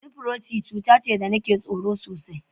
Lifrosi cuta ce da nake tsoro sosai.